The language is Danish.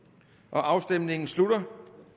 afstemningen slutter